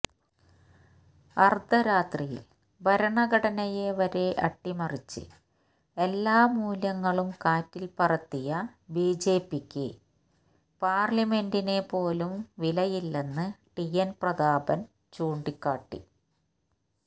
അര്ധരാത്രിയില് ഭരണഘടനയെ വരെ അട്ടിമറിച്ച് എല്ലാ മൂല്യങ്ങളും കാറ്റില്പ്പറത്തിയ ബിജെപിയ്ക്ക് പാര്ലമെന്റിനെ പോലും വിലയില്ലെന്ന് ടി എന് പ്രതാപനും ചൂണ്ടിക്കാട്ടി